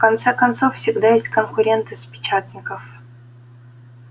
в конце концов всегда есть конкуренты с печатников